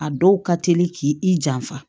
A dɔw ka teli k'i i janfa